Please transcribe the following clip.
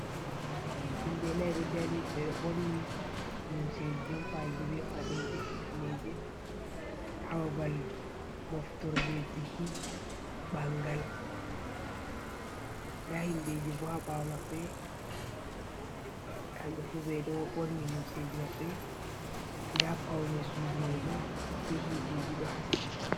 Himɓe nai ɗo dari ɓeɗo ɓorni lumseji jompaji ɓe paɗe be hifneje, ha babal moftorde biki bangal nda himɓeji bo ha ɓawo maɓɓe kamɓe fu ɓeɗo ɓorni lumseji maɓɓe nda paune sudu maibo be hiteji ɗo haski.